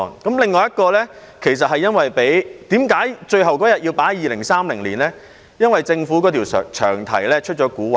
至於另一項修正案，最後一天假期要在2030年實施，是因為政府的詳題出蠱惑。